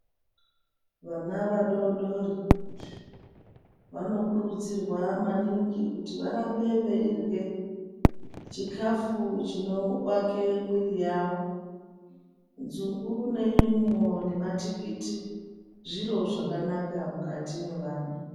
Vana vadodori vanokurudzirwa maningi, kuti varambe veirye chikhafu chinovaka mwiri yavo. Nzungu, nenyimo, nematikiti zviro zvakanaka mukati mwevana.